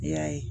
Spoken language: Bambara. I y'a ye